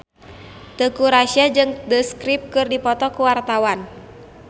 Teuku Rassya jeung The Script keur dipoto ku wartawan